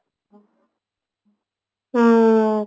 ହଁ